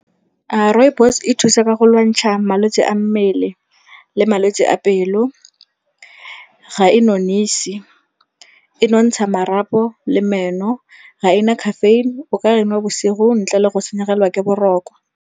Rooibos e thusa ka go lwantsha malwetse a mmele le malwetse a pelo. Ga e nonise, e nontsha marapo le meno. Ga e na caffeine, o ka enwa bosigo ntle le go senyegelwa ke boroko.